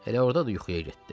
Elə orada da yuxuya getdi.